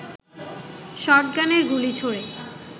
শটগানের গুলি ছোড়ে